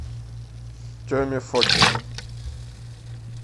теме фокину